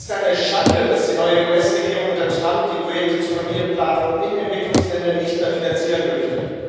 Es ist eine Schande, dass die neue US Regierung unter Trump die Projekte zur Familienplanung in Entwicklungsländern nicht mehr finanzieren möchte.